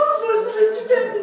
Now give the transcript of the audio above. Sənin ahın özünə gedəcək.